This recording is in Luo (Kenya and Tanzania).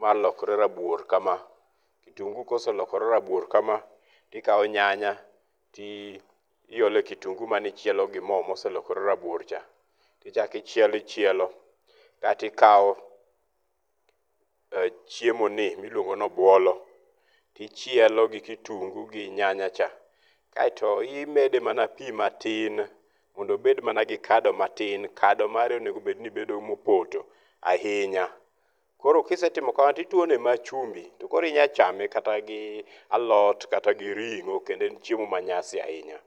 ma lokre rabuor kama. Kitungu koselokre rabuor kama to ikawo nyanya to iole kitungu mane ichielo gi mo mooselokore rabuor cha. To ichak ichielo ichielo kaesto ikawo chiemo ni ma iluongo ni obuolo. To ichielo gi kitungu gi nyanya cha. Kaeto imede ma pi matin mondo obed gi kado matin. Kado mare onego ni bedo mopoto ahinya. Koro kise timo kamano to ituone mana chumbi to koro inyalo chame kata gi alot kata gi ring'o kendo en chiemo ma nyasi ahinya.